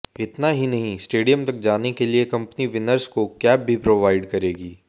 इतना ही नहीं स्टेडियम तक जाने के लिए कंपनी विनर्स को कैब भी प्रोवाइड करेगी